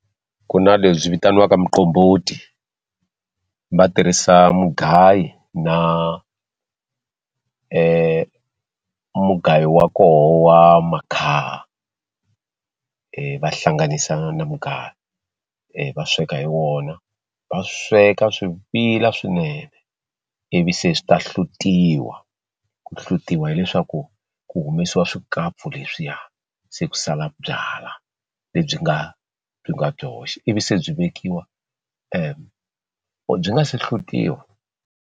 Ku na lebyi vitaniwaka muqombhoti va tirhisa mugayi na mugayo wa koho wa makhaha va hlanganisa na mugayo va sweka hi wona va sweka swi vila swinene ivi se swi ta hlutiwa ku hlutiwa hileswaku ku humesiwa swikapfu leswiya se ku sala byala lebyi nga byi nga byoxe ivi se byi vekiwa byi nga se hlutiwa.